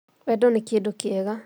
Wendo nĩ kĩndũkiega